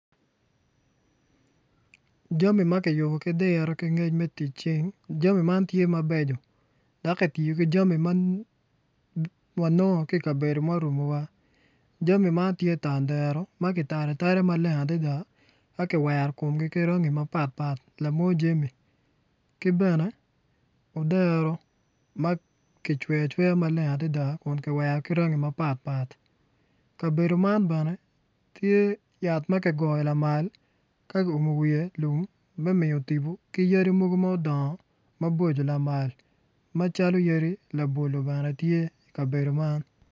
Jami ma kiyubo ki diro me tic cing jami magi kiyubo dok kitiyo ki jami ma wanongo ki i kabedo ma oruko wa jami magi tye tandero ma kitalo atala ma kiwero komgi ka kala mapatpat ki jami ki bene odero ma kiwero kome ki kala mapatpat kabedo man bene tye ma kiguro lamal ma kiumo wiye me miyo tipo.